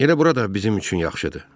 Elə bura da bizim üçün yaxşıdır.